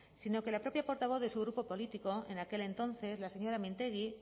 sino que la propia portavoz de su grupo político en aquel entonces la señora mintegi